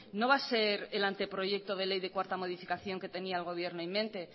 no va a ser el anteproyecto de ley de cuarta modificación que tenía el gobierno en mente